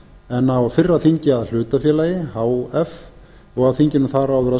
en á fyrra þingi að hlutafélagi og á þinginu þar